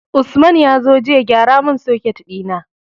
Usman yazo jiya ya gyara mun soket dina